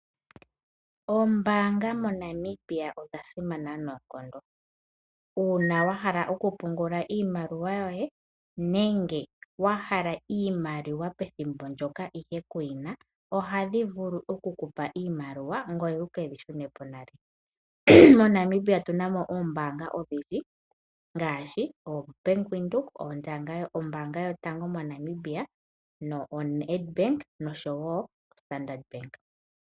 Oombaanga moNamibia odhasimana noonkondo. Uuna wahala okupungula iimaliwa yoye nenge wahala iimaliwa pethimbo ndyoka ihe kuyina, ohadhi vulu okukupa iimaliwa ngoye wukeyi shune po nale. MoNamibia otuna mo oombaanga odhindji ngaashi ngaashi oBank Windhoek, Ombaanga yotango moNamibia, Standard Bank noshowoo oNedbank.